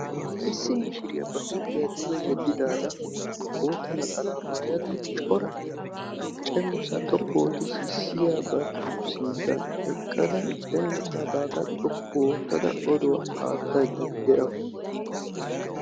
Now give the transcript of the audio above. Issi mishiriya ba huuphiya duge yeddadda de'awussu yaatada cenggurssa xoqqu oottadda yexxawussu.